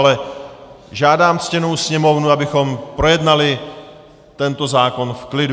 Ale žádám ctěnou sněmovnu, abychom projednali tento zákon v klidu.